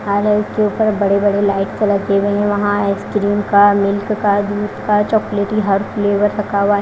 झालर के ऊपर बड़े बड़े लाइट कलर की गई है वहां आइसक्रीम का मिल्क का दूध का चॉकलेटी हर फ्लेवर रखा हुआ है।